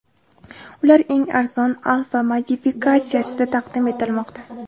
Ular eng arzon Alpha modifikatsiyasida taqdim etilmoqda.